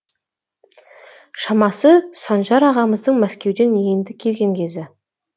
шамасы санжар ағамыздың мәскеуден енді келген кезі